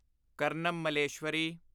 Karnam Malleswari